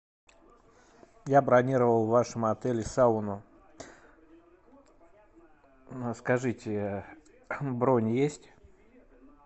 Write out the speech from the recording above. я бронировал в вашем отеле сауну скажите бронь есть